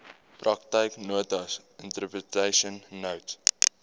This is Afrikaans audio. praktyknotas interpretation notes